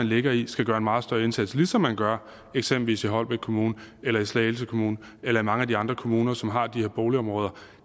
ligger i skal gøre en meget større indsats ligesom man gør eksempelvis i holbæk kommune eller i slagelse kommune eller i mange af de andre kommuner som har de her boligområder